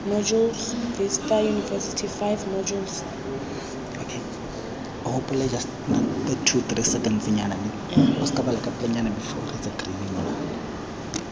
modules vista university five modules